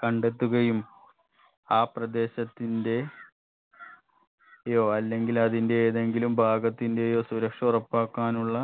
കണ്ടെത്തുകയും ആ പ്രദേശത്തിന്റെ യോ അല്ലെങ്കിൽ അതിന്റെ ഏതെങ്കിലും ഭാഗത്തിന്റെയോ സുരക്ഷ ഉറപ്പാക്കാനുള്ള